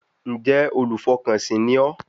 Ǹjẹ́ olùfọkànsìn ni ọ́